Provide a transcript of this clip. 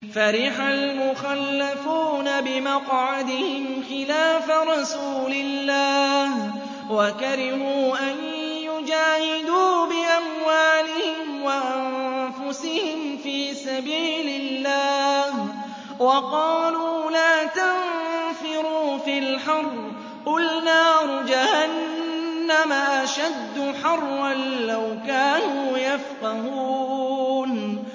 فَرِحَ الْمُخَلَّفُونَ بِمَقْعَدِهِمْ خِلَافَ رَسُولِ اللَّهِ وَكَرِهُوا أَن يُجَاهِدُوا بِأَمْوَالِهِمْ وَأَنفُسِهِمْ فِي سَبِيلِ اللَّهِ وَقَالُوا لَا تَنفِرُوا فِي الْحَرِّ ۗ قُلْ نَارُ جَهَنَّمَ أَشَدُّ حَرًّا ۚ لَّوْ كَانُوا يَفْقَهُونَ